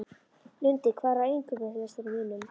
Lundi, hvað er á innkaupalistanum mínum?